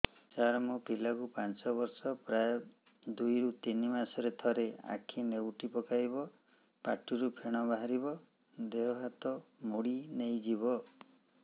ସାର ମୋ ପିଲା କୁ ପାଞ୍ଚ ବର୍ଷ ପ୍ରାୟ ଦୁଇରୁ ତିନି ମାସ ରେ ଥରେ ଆଖି ନେଉଟି ପକାଇବ ପାଟିରୁ ଫେଣ ବାହାରିବ ଦେହ ହାତ ମୋଡି ନେଇଯିବ